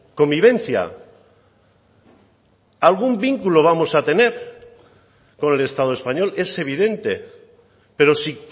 convivencia algún vínculo vamos a tener con el estado español es evidente pero si